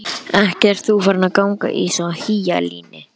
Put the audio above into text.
Ekki ert þú farin að ganga í svona hýjalíni?